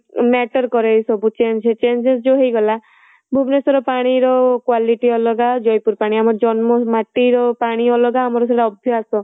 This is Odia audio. matter କରେ ଏ ସବୁ change changes ଯୋଉ ହେଇ ଗଲା ଭୁବନେଶ୍ୱର ପାଣିର quality ଅଲଗା ଜୟପୁର ପାଣି ଆମ ଜନ୍ମ ମାଟିର ପାଣି ଅଲଗା ଆମର ସେଟା ଅଭ୍ୟାସ